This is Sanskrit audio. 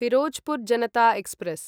फिरोजपुर् जनता एक्स्प्रेस्